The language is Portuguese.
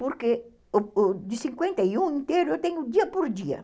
Porque de cinquenta e um inteiro, eu tenho dia por dia.